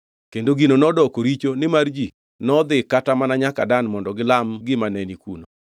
Kendo gino nodoko richo; nimar ji nodhi kata mana nyaka Dan mondo gilam gimane ni kuno.